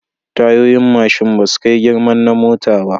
Tayoyin mashin basu kai girman na mota ba